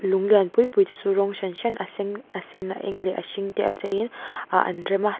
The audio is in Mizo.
lung lian pui te chu rawng hran hran a sen a sen a eng leh a hring te a cheiin ah an rem a tah--